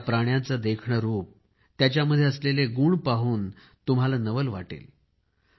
या प्राण्यांचे देखणे रूप त्यांच्यामध्ये असलेले गुण पाहून तर तुम्हाला खूप नवल वाटेल